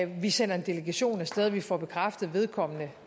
vi sender en delegation af sted og vi får bekræftet at vedkommende